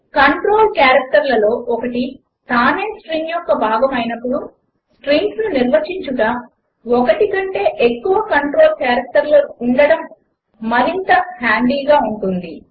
control క్యారెక్టర్లలో ఒకటి తానే స్ట్రింగ్ యొక్క భాగము అయినప్పుడు స్ట్రింగ్స్ను నిర్వచించుటకు ఒకటి కంటే ఎక్కువ కంట్రోల్ క్యారెక్టర్లు ఉండడము మరింత హ్యాండీగా ఉంటుంది